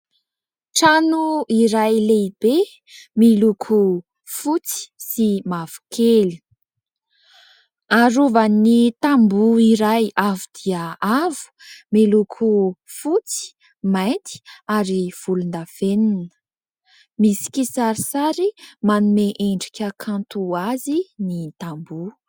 Trano iray lehibe miloko fotsy sy mavokely. Arovan'ny tamboho iray avo dia avo, miloko fotsy, mainty ary volondavenina. Misy kisarisary manome endrika kanto azy ny tamboho.